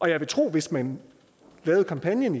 jeg vil tro at hvis man lavede kampagnen